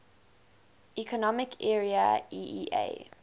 economic area eea